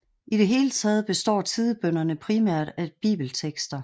I det hele taget består tidebønnerne primært af bibeltekster